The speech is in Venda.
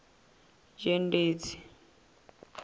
dzhendedzi